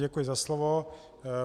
Děkuji za slovo.